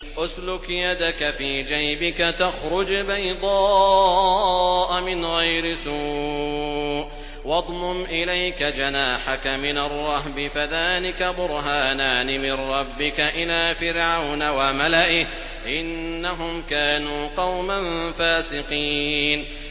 اسْلُكْ يَدَكَ فِي جَيْبِكَ تَخْرُجْ بَيْضَاءَ مِنْ غَيْرِ سُوءٍ وَاضْمُمْ إِلَيْكَ جَنَاحَكَ مِنَ الرَّهْبِ ۖ فَذَانِكَ بُرْهَانَانِ مِن رَّبِّكَ إِلَىٰ فِرْعَوْنَ وَمَلَئِهِ ۚ إِنَّهُمْ كَانُوا قَوْمًا فَاسِقِينَ